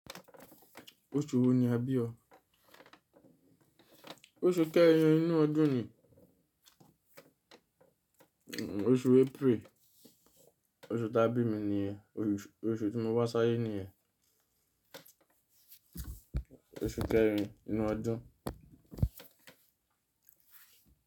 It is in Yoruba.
Oṣù wo ni a bí o? Oṣù kẹrin inú ọdún ni. Oṣù April. Oṣù ta bí mi ni yẹn. Oṣù, oṣù tí mo wá sáyé ní yẹn. Oṣù kẹrin inú ọdún.